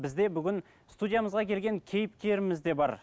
бізде бүгін студиямызға келген кейіпкеріміз де бар